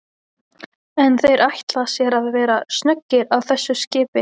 En þeir ætla sér að vera snöggir á þessu skipi?